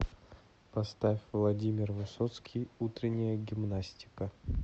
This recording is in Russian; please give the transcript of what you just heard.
поставь владимир высоцкий утренняя гимнастика